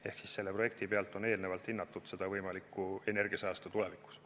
Ehk selle projekti pealt on eelnevalt hinnatud võimalikku energiasäästu tulevikus.